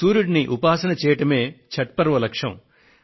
సూర్యుడిని ఉపాసన చేయడమే ఛఠ్ పర్వ లక్ష్యం